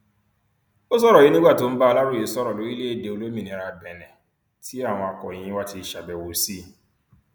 ó sọrọ yìí nígbà tó ń bá aláròye sọrọ lórílẹèdè olómìnira benin tí àwọn akòròyìn wa ti ṣàbẹwò sí i